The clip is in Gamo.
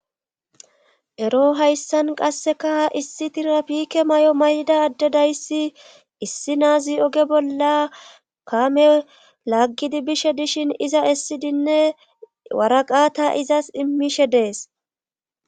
Ero hayssan qasseka issi tirapike may7o mayda addedayssi issi naazi oge bolla kame laaggidi bishe dishin iza essidinne waraqata izas immishe dees.